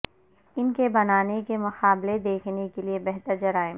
ان کے بنانے کے مقابلے دیکھنے کے لئے بہتر جرائم